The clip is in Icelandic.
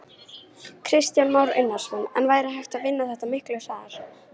Kristján Már Unnarsson: En væri hægt að vinna þetta miklu hraðar?